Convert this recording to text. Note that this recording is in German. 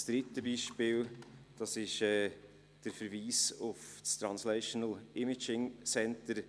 Das letzte Beispiel ist der Verweis auf das Translational Imaging Center.